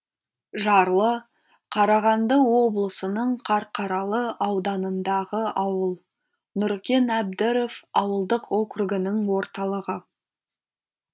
жарлы қарағанды облысының қарқаралы ауданындағы ауыл нұркен әбдіров ауылдық округінің орталығы